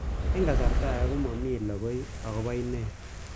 Eng' kasarta ag'e ko mami lokoi akopo inet